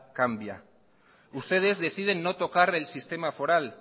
cambia ustedes deciden no tocar el sistema foral